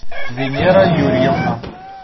венера юрьевна